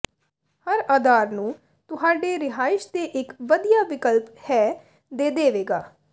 ਹਰ ਅਧਾਰ ਨੂੰ ਤੁਹਾਡੇ ਰਿਹਾਇਸ਼ ਦੇ ਇੱਕ ਵਧੀਆ ਵਿਕਲਪ ਹੈ ਦੇ ਦੇਵੇਗਾ